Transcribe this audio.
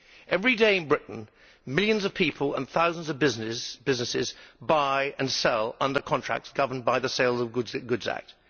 Every day in Britain, millions of people and thousands of businesses buy and sell under contracts governed by the Sale of Goods Act.